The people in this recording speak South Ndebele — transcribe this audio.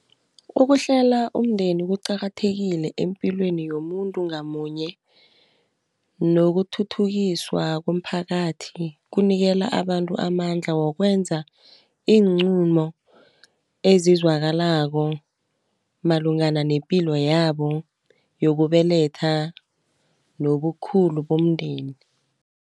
Ukuhlela umndeni kuqakathekile empilweni yomuntu ngamunye, nokuthuthukiswa komphakathi kunikela abantu amandla wokwenza iinqumo ezizwakalako, malungana nepilo yabo yokubeletha nobukhulu bomndeni.